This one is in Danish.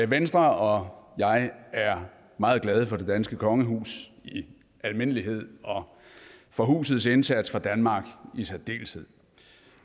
venstre og jeg er meget glade for det danske kongehus i almindelighed og for husets indsats for danmark i særdeleshed